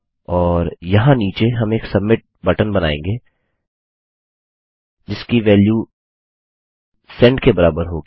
और यहाँ नीचे हम एक सबमिट बटन बनाएँगे जिसकी वेल्यू सेंड के बराबर होगी